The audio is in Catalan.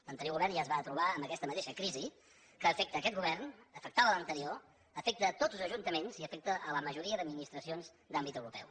l’anterior govern ja es va trobar amb aquesta mateixa crisi que afecta aquest govern afectava l’anterior afecta tots els ajuntaments i afecta la majoria d’administracions d’àmbit europeu